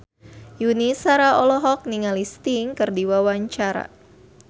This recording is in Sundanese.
Yuni Shara olohok ningali Sting keur diwawancara